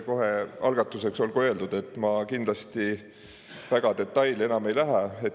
Kohe algatuseks olgu öeldud, et ma kindlasti väga detailidesse enam ei lähe.